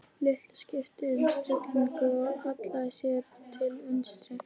Lilla skipti um stellingu og hallaði sér til vinstri.